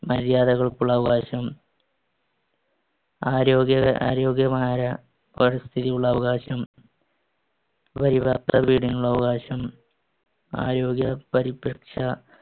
മര്യാദകൾക്കുള്ള അവകാശം, ആരോഗ്യക~ ആരോഗ്യമായ പരിസ്ഥിതിയുള്ള അവകാശം, അവകാശം, ആരോഗ്യ പരിപക്ഷ~